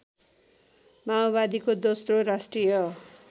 माओवादीको दोस्रो राष्ट्रिय